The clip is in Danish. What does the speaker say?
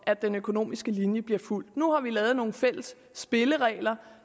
at den økonomiske linje bliver fulgt ligger nu har vi lavet nogle fælles spilleregler